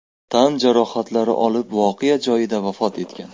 tan jarohatlari olib voqea joyida vafot etgan.